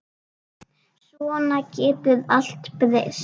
Svona getur allt breyst.